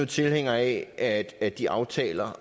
tilhængere af at at de aftaler